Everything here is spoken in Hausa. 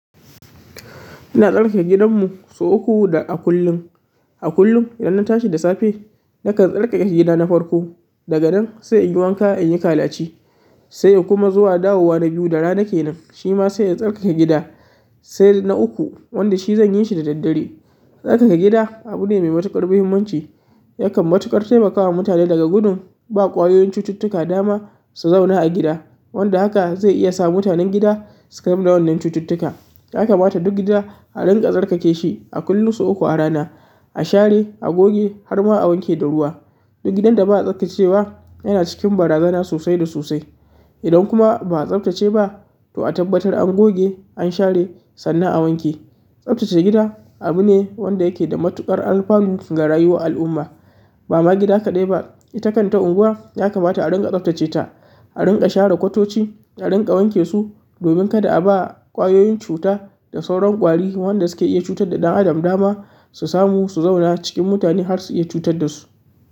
Ina tsarkake gidanmu sau uku da a kullum. A kullum idan na tashi da safe, nakan tsarkake gida na farko. Daga nan sai in yi wanka, in yi kalaci sai kuma zuwa dawowa na biyu da rana ke nan, shi ma sai in tsarkake gida sai na uku wanda shi zan yi shi da daddare. Tsarkake gida abu ne mai matuƙar muhimmanci. Yakan matuƙar taimaka wa mutane daga gudun ba ƙwayoyin cututtuka dama su zauna a gida. Wanda haka zai iya sa mutanan gida su kamu da wannan cututtuka ya kamata duk gida a dinga tsarkake shi a kullum sau uku a rana a share a goge har ma a wanke da ruwa duk gidan da ba'a tsarkake wa yana cikin barazana sosai da sosai idan kuma ba a tsabtace ba to a tabbatar an goge, an share sannan a wanke. Tsabtace gida abu ne wanda yake da matuƙar alfanu ga rayuwar al'umma. Ba ma gida kaɗai ba, ita kan ta unguwa ya kamata a rinƙa tsabtace ta, a rinƙa share kwatoci, a rinƙa wanke su domin kada a ba ƙwayoyin cuta da sauran ƙwari wanda su ke iya cutar da ɗan adam dama su samu su zauna cikin mutane har su iya cutar da su.